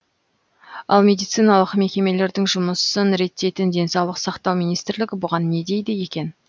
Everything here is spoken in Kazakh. ал медициналық мекемелердің жұмысын реттейтін денсаулық сақтау министрлігі бұған не дейді екен